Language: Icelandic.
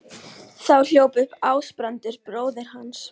Þá hljóp upp Ásbrandur bróðir hans.